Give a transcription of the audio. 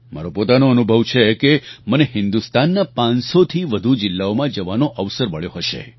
મારો પોતાનો અનુભવ છે કે મને હિન્દુસ્તાનના પાંચસોથી વધુ જિલ્લાઓમાં જવાનો અવસર મળ્યો હશે